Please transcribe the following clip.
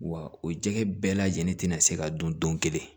Wa o jɛgɛ bɛɛ lajɛlen ti na se ka don don kelen